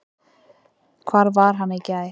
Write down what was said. Hvar var hann í gær?